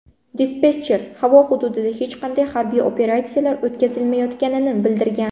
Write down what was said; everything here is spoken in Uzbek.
Dispetcher havo hududida hech qanday harbiy operatsiyalar o‘tkazilmayotganini bildirgan.